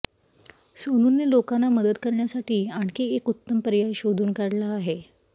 सोनूने लोकांना मदत करण्यासाठी आणखी एक उत्तम पर्याय शोधून काढला आहे